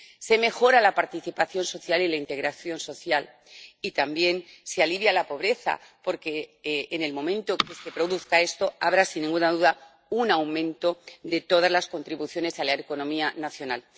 Se mejora la participación social y la integración social, y también se alivia la pobreza, porque en el momento en que se produzca esto habrá, sin ninguna duda, un aumento de todas las contribuciones a la economía nacional.